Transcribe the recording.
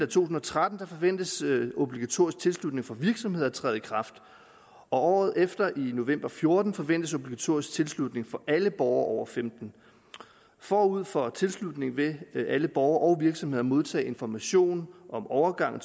tusind og tretten forventes obligatorisk tilslutning for virksomheder at træde i kraft året efter i november fjorten forventes obligatorisk tilslutning for alle borgere over femten år forud for tilslutningen vil vil alle borgere og virksomheder modtage information om overgangen